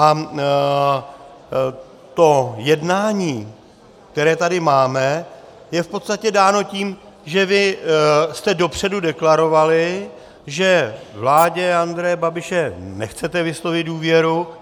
A to jednání, které tady máme, je v podstatě dáno tím, že vy jste dopředu deklarovali, že vládě Andreje Babiše nechcete vyslovit důvěru.